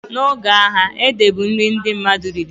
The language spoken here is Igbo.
Na oge agha, ede bụ nri ndị mmadụ riri